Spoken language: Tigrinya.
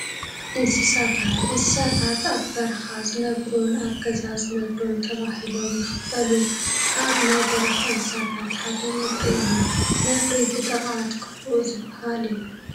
እንስሳታት፡- እንስሳታት ኣብ በረኻ ዝነብሩን ኣብ ገዛ ዝነብሩን ተባሂሎም ይኽፈሉ፡፡ ካብ ናይ በረኻ እንስሳታት ሓደ ነብሪ እዩ፡፡ ነብሪ ብጥቕዓት ክፉእ ዝባሃል እዩ፡፡